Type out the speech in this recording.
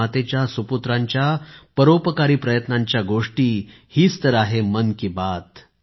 भारत मातेच्या सुपुत्रांच्या परोपकारी प्रयत्नांच्या गोष्टी हीच तर आहे मन की बात